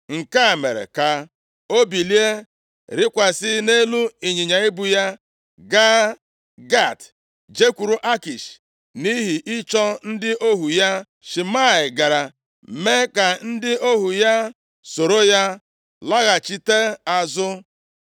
Nke a mere ka o bilie, rịkwasị nʼelu ịnyịnya ibu ya, gaa Gat, jekwuru Akish nʼihi ịchọ ndị ohu ya. Shimei gara mee ka ndị ohu ya soro ya laghachite azụ.